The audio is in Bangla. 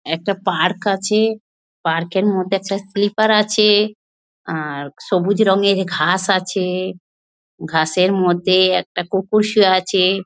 একটা পার্ক আছে। পার্ক -এর মধ্যে একটা স্লিপার আছে। আ-র সবুজ রঙের ঘাস আছে ঘাসের মধ্যে একটা কুকুর শুয়ে আছে ।